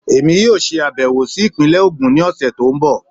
Èmi yóò ṣe àbẹ̀wò sí ìpínlẹ̀ Ogun ní ọ̀sẹ̀ tó ń bọ̀